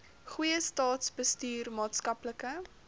goeie staatsbestuur maatskaplike